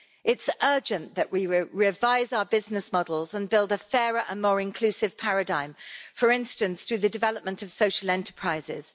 It's urgent that we revise our business models and build a fairer and more inclusive paradigm, for instance through the development of social enterprises.